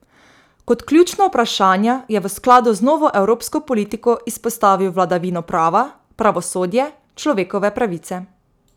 Kot ključna vprašanja je v skladu z novo evropsko politiko izpostavil vladavino prava, pravosodje, človekove pravice.